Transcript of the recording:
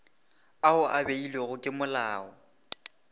ao a beilwego ke molao